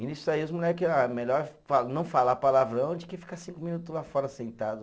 E nisso aí os moleque, ah, melhor fa, não falar palavrão do que ficar cinco minutos lá fora sentado.